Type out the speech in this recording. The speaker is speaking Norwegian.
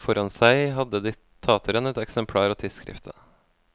Foran seg hadde diktatoren et eksemplar av tidsskriftet.